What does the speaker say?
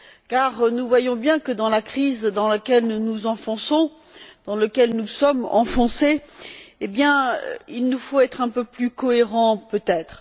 car nous voyons bien que, dans la crise dans laquelle nous nous enfonçons, dans laquelle nous sommes enfoncés, il nous faut être un peu plus cohérents peut être.